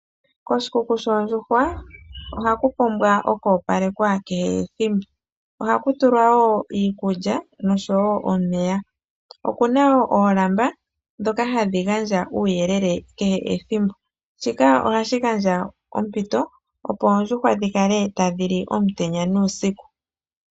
Koshikuku shoondjuhwa ohaku pumbwa oku opalekwa kehethimbo, ohaku tulwa wo iikulya nosho wo omeya. Okuna oolamba dhoka hadhi gandja uuyelele kehethimbo, shika ohashi gandja ompito opo oondjuhwa dhikale tadhi li omutenya nuusiku.